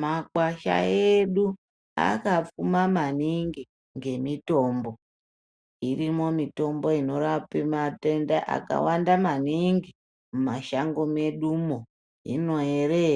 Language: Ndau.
Makwasha edu akapfuma maningi ngemitombo irimo. Mitombo inorapa matenda akawanda maningi mumashango medumo. Hino ere